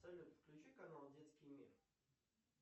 салют включи канал детский мир